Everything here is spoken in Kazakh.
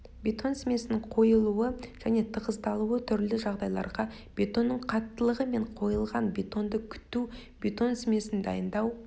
бетон смесінің қойылуы және тығыздалуы түрлі жағдайларда бетонның қаттылығы және қойылған бетонды күту бетон смесін дайындау